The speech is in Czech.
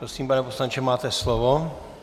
Prosím, pane poslanče, máte slovo.